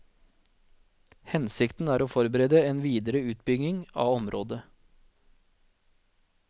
Hensikten er å forberede en videre utbygging av området.